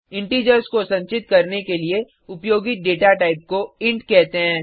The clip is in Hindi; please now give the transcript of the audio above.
इंटिजर्स को संचित करने के लिए उपयोगित डेटा टाइप को इंट कहते हैं